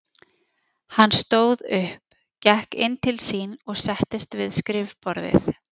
Hann stóð upp, gekk inn til sín og settist við skrifborðið.